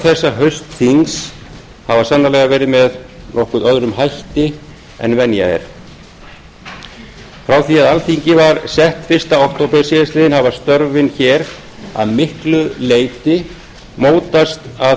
þessa haustþings hafa sannarlega verið með nokkuð öðrum hætti en venja er frá því að alþingi var sett fyrstu okt síðastliðinn hafa störfin hér að miklu leyti mótast af